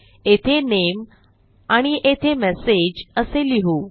येथे Name आणि येथे Message असे लिहू